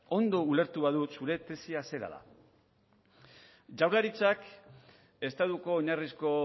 ondo ulertu badut zure tesia zera da jaurlaritzak estatuko oinarrizko